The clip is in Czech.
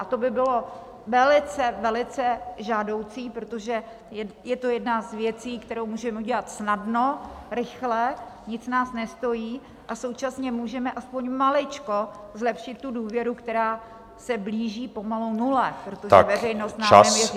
A to by bylo velice, velice žádoucí, protože je to jedna z věcí, kterou můžeme udělat snadno, rychle, nic nás nestojí a současně můžeme aspoň maličko zlepšit tu důvěru, která se blíží pomalu nule, protože veřejnost nám nevěří.